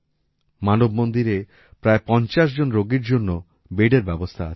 মানব মন্দিরে প্রায় ৫০ জন রোগীর জন্য বেডের ব্যবস্থা আছে